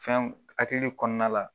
Fɛnw hakiliw kɔnɔna la